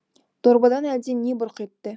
дорбадан әлдене бұрқ етті